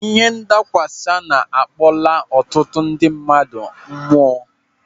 Ihe nadakwasa na-akpọla ọtụtụ ndị mmadụ mụọ.